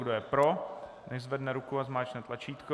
Kdo je pro, nechť zvedne ruku a zmáčkne tlačítko.